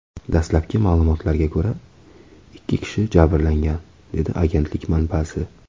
Dastlabki ma’lumotlarga ko‘ra, ikki kishi jabrlangan”, dedi agentlik manbasi.